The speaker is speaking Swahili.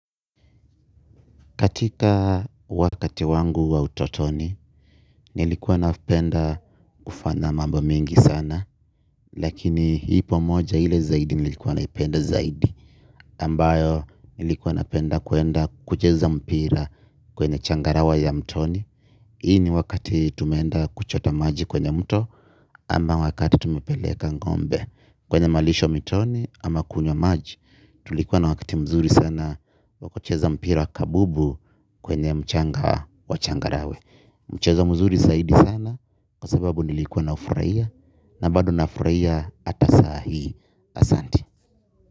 Katika wakati wangu wa utotoni, nilikuwa napenda kufanya mambo mengi sana. Lakini ipo moja ile zaidi nilikuwa naipenda zaidi. Ambayo nilikuwa napenda kwenda kucheza mpira kwenye changarawa ya mtoni. Hii ni wakati tumeenda kuchota maji kwenye mto ama wakati tumepeleka ngombe. Kwenye malisho mitoni ama kunywa maji. Tulikuwa na wakati mzuri sana wa kucheza mpira kabubu kwenye mchanga wa changarawe. Mchezo mzuri zaidi sana kwa sababu nilikuwa naufurahia. Na bado nafurahia ata sai asante.